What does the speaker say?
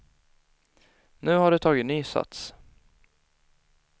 Nu har de tagit ny sats.